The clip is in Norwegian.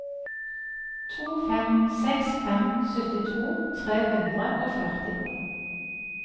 to fem seks fem syttito tre hundre og førti